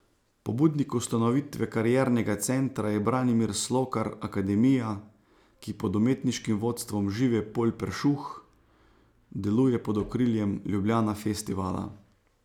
Pobudnik ustanovitve kariernega centra je Branimir Slokar Akademija, ki pod umetniškim vodstvom Žive Polj Peršuh deluje pod okriljem Ljubljana Festivala.